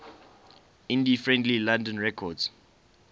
indie friendly london records